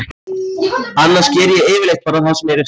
Annars geri ég yfirleitt bara það sem mér er sagt.